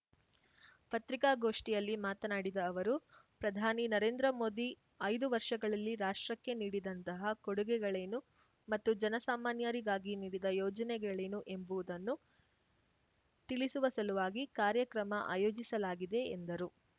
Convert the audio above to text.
ಪತ್ರಿಕಾಗೋಷ್ಠಿಯಲ್ಲಿ ಮಾತನಾಡಿದ ಅವರು ಪ್ರಧಾನಿ ನರೇಂದ್ರ ಮೋದಿ ಐದು ವರ್ಷಗಳಲ್ಲಿ ರಾಷ್ಟ್ರಕ್ಕೆ ನೀಡಿದಂತಹ ಕೊಡುಗೆಗಳೇನು ಮತ್ತು ಜನಸಾಮಾನ್ಯರಿಗಾಗಿ ನೀಡಿದ ಯೋಜನೆಗಳೇನು ಎಂಬುವುದನ್ನು ತಿಳಿಸುವ ಸಲುವಾಗಿ ಕಾರ್ಯಕ್ರಮ ಆಯೋಜಿಸಲಾಗಿದೆ ಎಂದರು